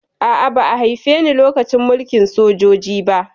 A'a, ba haife ni lokacin mulkin sojoji ba